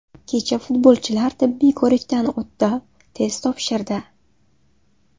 Kecha futbolchilar tibbiy ko‘rikdan o‘tdi, test topshirdi.